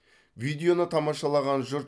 видеоны тамашалаған жұрт